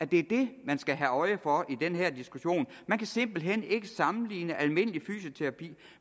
det man skal have øje for i den her diskussion man kan simpelt hen ikke sammenligne almindelig fysioterapi